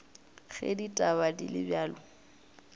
ge ditaba di le bjalo